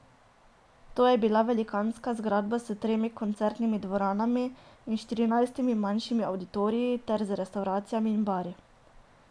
To je bila velikanska zgradba s tremi koncertnimi dvoranami in štirinajstimi manjšimi avditoriji ter z restavracijami in bari.